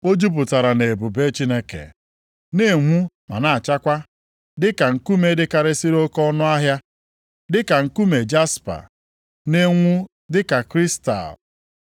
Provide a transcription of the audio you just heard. O jupụtara nʼebube Chineke, na-enwu ma na-achakwa dịka nkume dịkarịsịrị oke ọnụahịa, dịka nkume jaspa, na-enwu dịka kristal.